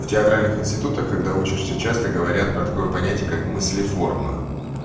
в театральных институтах когда учишься часто говорят про такое понятие как мыслеформа